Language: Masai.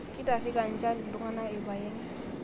Keitarika njan ltung'ana lpayeg